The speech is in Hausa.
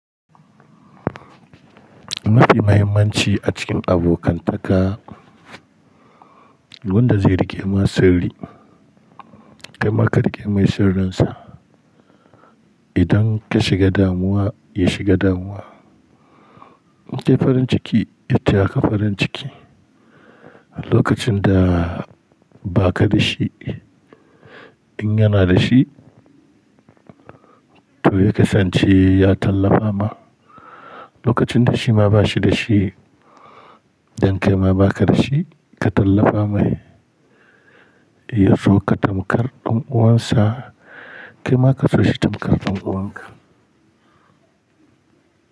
Mafi mahimmanci a cikin abokantaka wanda zai riƙe ma sirri, kai ma ka riƙe mai sirrin sa. Idan ka shiga damuwa, ya shiga damuwa. Kai farin ciki, ya taya ka farin ciki. Lokacin da ba ka da shi, in yana da shi, to ya kasance ya tallafa ma. Lokacin da shi ma ba shi da shi, don kai ma ba ka da shi, ka tallafa mai. Ya so ka tamkar ɗan uwansa, kai ma ka so shi tamkar ɗan uwanka.